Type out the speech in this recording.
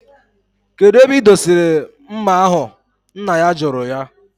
Kedu ebe idosiri mma ahu, nna ya juru ya?